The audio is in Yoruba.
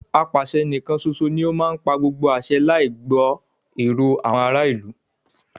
Apàṣẹ níkán ṣoṣo ní o má ń pa gbogbo àṣẹ láì gbọ́ èrò àwọn ará ìlú.